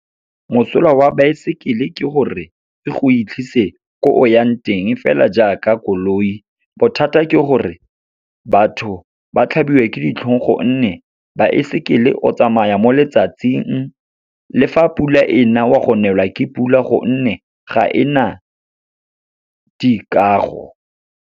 Mosola wa baesekele ke gore, e go fitlhise ko o yang teng, fela jaaka koloi. Bothata ke gore, batho ba tlhabiwa ke ditlhong gonne, baesekele o tsamaya mo letsatsing. Le fa pula e na, wa go nelwa ke pula gonne ga e na dikago.